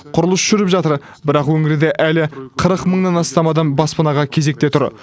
құрылыс жүріп жатыр бірақ өңірде әлі қырық мыңнан астам адам баспанаға кезекте тұр